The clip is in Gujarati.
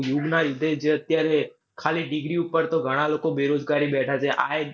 યુગ ના લીધે જે અત્યરાએ ખાલી degree ઉપર તો ઘણાં લોકો બેરોજગારી બેઠા છે.